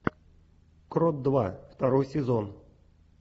крот два второй сезон